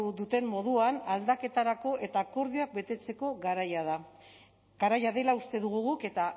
duten moduan aldaketarako eta akordioak betetzeko garaia da garaia dela uste dugu guk eta